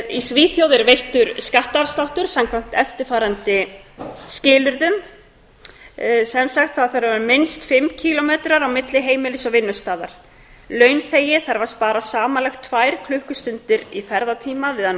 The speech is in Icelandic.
í svíþjóð er veittur skattafsláttur samkvæmt eftirfarandi skilyrðum það þarf að vera minnst fimm kílómetrar á milli heimilis og vinnustaðar launþegi þarf að spara samanlagt tvær klukkustundir í ferðatíma við að